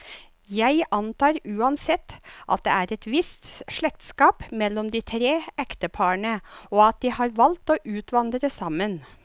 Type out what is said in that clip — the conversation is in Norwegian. Jeg antar uansett, at det er et visst slektskap mellom de tre ekteparene, og at de har valgt å utvandre sammen.